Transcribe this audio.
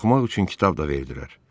Oxumaq üçün kitab da verdilər.